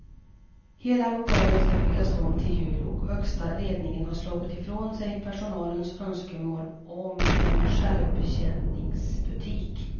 Hela lokalen ska byggas om till jul och högsta ledningen har slagit ifrån sig personalens önskemål om en självbetjäningsbutik.